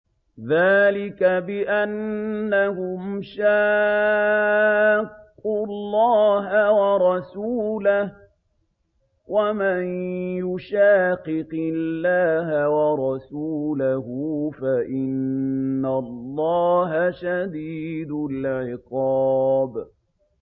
ذَٰلِكَ بِأَنَّهُمْ شَاقُّوا اللَّهَ وَرَسُولَهُ ۚ وَمَن يُشَاقِقِ اللَّهَ وَرَسُولَهُ فَإِنَّ اللَّهَ شَدِيدُ الْعِقَابِ